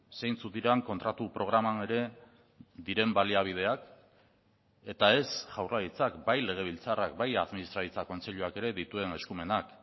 zeintzuk diren kontratu programan ere diren baliabideak eta ez jaurlaritzak bai legebiltzarrak bai administraritza kontseiluak ere dituen eskumenak